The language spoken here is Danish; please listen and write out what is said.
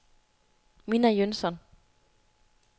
Minna Jønsson